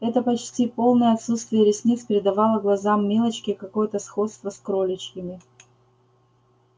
это почти полное отсутствие ресниц придавало глазам милочки какое-то сходство с кроличьими